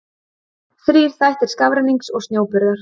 Þrír þættir skafrennings og snjóburðar.